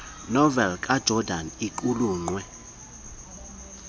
noveli kajordan iqulunqwe